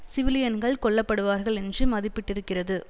சிவிலியன்கள் கொல்ல படுவார்கள் என்று மதிப்பிட்டிருக்கிறது